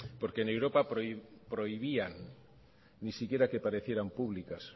porque en europa prohibían ni siquiera que parecieran públicas